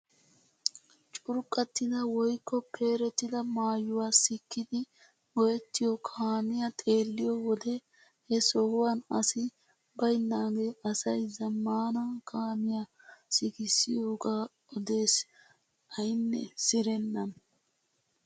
Curqqattida woykko peerettida maayuwaa sikkidi go"ettiyoo kaamiyaa xeelliyoo wode he sohuwaan asi baynagee asay zammaana kaamiyaa sikissiyooga odes aynne sirennan!